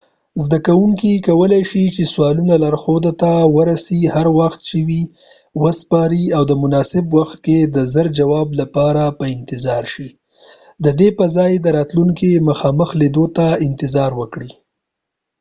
زده کوونکې کولای شي چې سوالونه لارښود ته د ورڅی هر وخت چې وي وسپاری او د مناسب وخت کې د زر جواب لپاره په انتظار شي، ددې په ځای چې د راتلونکې مخامخ لیدلو ته انتظار وکړي